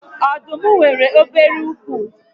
Ọdụm nwèrè obere úkwú